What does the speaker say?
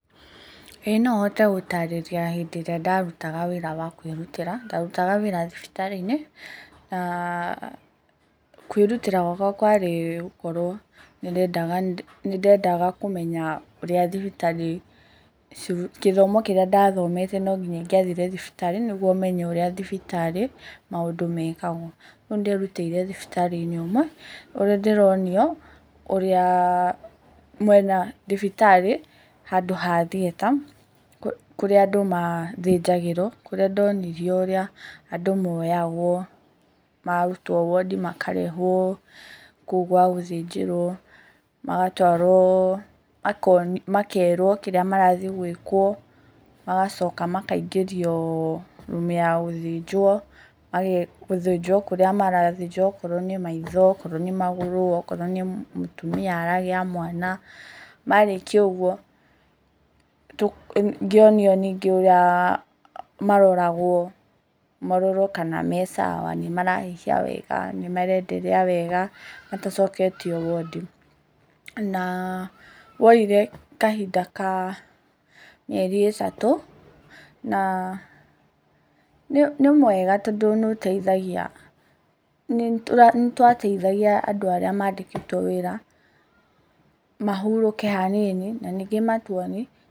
Ĩĩ no hote gũtarĩria hĩndĩ ĩrĩa ndarutaga wĩra wa kwĩrutĩra. Ndarutaga wĩra thibitarĩ-inĩ. Na, kwĩrutĩra gwakwa kwarĩ gũkorwo nĩndendaga kũmenya ũrĩa thibitarĩ, gĩthomo kĩrĩa ndathomete no nginya ingĩathire thibitarĩ, nĩguo menye ũrĩa thibitarĩ maũndũ mekagwo. Ogwo nĩnderutĩire thibitarĩ-inĩ ũmwe ũrĩa ndĩronio ũrĩa, thibitarĩ handũ ha thieta, kũrĩa andũ mathĩnjagĩrwo, kũrĩa ndonirio ũrĩa andũ moyagwo, maarutwo wondi makarehwo kũu gwa gũthĩnjĩrwo, magatwarwo, makerwo kĩrĩa marathiĩ gwĩkwo. Magacoka makaingĩrio rumu ya gũthĩnjwo, gũthĩnjwo kũrĩa marathĩnjwo okorwo nĩ maitho, okorwo nĩ magũrũ, okorwo nĩ mũtumia aragĩa mwana. Marĩkia ũguo ngĩonio ningĩ ũrĩa maroragwo, marorwo kana me sawa, nĩmarahuhia wega, nĩmarenderea wega matacoketio wondi. Na woire kahinda ka mĩeri ĩtatũ, na nĩ mwega tondũ nĩũteithagia, nĩtwateithagia andũ arĩa mandĩkĩtwo wĩra mahurũke hanini na ningĩ matũonie...